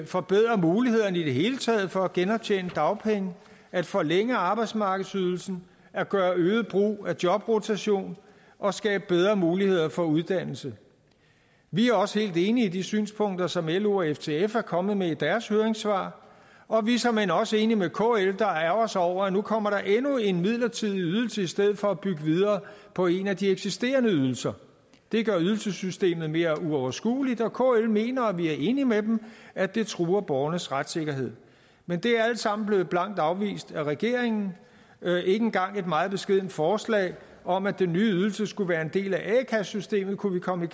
forbedre mulighederne i det hele taget for at genoptjene dagpenge at forlænge arbejdsmarkedsydelsen at gøre øget brug af jobrotation og at skabe bedre muligheder for uddannelse vi er også helt enig i de synspunkter som lo og ftf er kommet med i deres høringssvar og vi er såmænd også enig med kl der ærgrer sig over at der nu kommer endnu en midlertidig ydelse i stedet for at der bygges videre på en af de eksisterende ydelser det gør ydelsessystemet mere uoverskueligt og kl mener og vi er enige med dem at det truer borgernes retssikkerhed men det er alt sammen blevet blankt afvist af regeringen ikke engang et meget beskedent forslag om at den nye ydelse skulle være en del af a kassesystemet kunne vi komme